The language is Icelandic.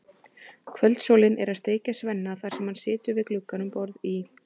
Kvöldsólin er að steikja Svenna þar sem hann situr við glugga um borð í